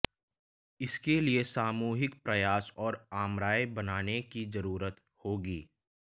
इसके लिए सामूहिक प्रयास और आमराय बनाने की जरूरत होगी